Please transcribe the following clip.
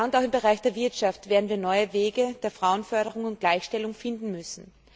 Auch im Bereich der Wirtschaft werden wir neue Wege der Frauenförderung und Gleichstellung finden müssen.